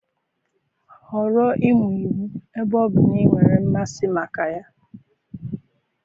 Họrọ ịmụ iwu ebe ọ bụ na ị nwere mmasị maka ya.